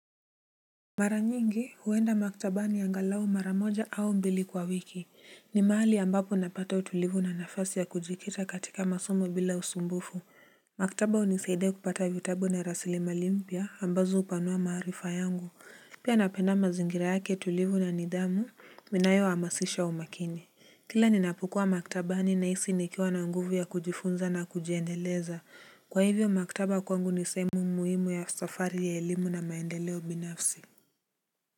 Mara nyingi huenda maktabani angalao mara moja au mbili kwa wiki ni mahali ambapo napata utulivu na nafasi ya kujikita katika masomo bila usumbufu. Maktaba unisaidia kupata vitabu na rasilimali mpya ambazo hupanua maarifa yangu pia napenda mazingira yake tulivu na nidhamu inayo hamasisha umakini. Kila ninapokua maktabani nahisi nikiwa na nguvu ya kujifunza na kujiendeleza kwa hivyo maktaba kwangu nisehemu muhimu ya safari ya elimu na maendeleo binafsi.